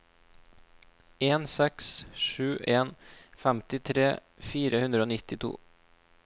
en seks sju en femtitre fire hundre og nittito